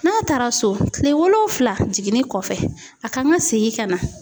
N'a taara so kile wolonfila jiginni kɔfɛ a kan ka segin ka na.